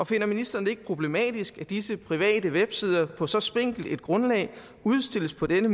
finder ministeren det ikke problematisk at disse private websider på så spinkelt et grundlag udstilles på denne